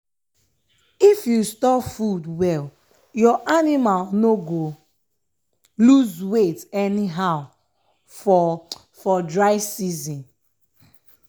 if you store food well your anima no go lose weight anyhow for for dry season.